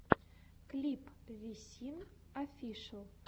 клип висин офишел